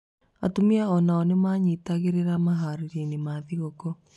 Atumia o nao nĩ manyitanagĩra maharĩrio-inĩ ma thigũkũ.